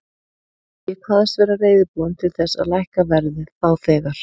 Ég kvaðst vera reiðubúinn til þess að lækka verðið þá þegar.